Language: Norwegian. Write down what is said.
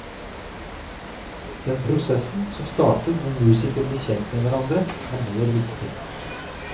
Den prosessen som starter når musikere blir kjent med hverandre er mer viktig.